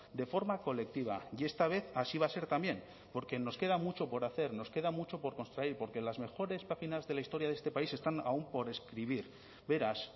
de forma colectiva y esta vez así va a ser también porque nos queda mucho por hacer nos queda mucho por construir porque las mejores páginas de la historia de este país están aún por escribir beraz